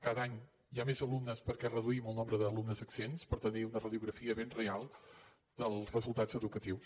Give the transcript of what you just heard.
cada any hi ha més alumnes perquè reduïm el nombre d’alumnes exempts per tenir una radiografia ben real dels resultats educatius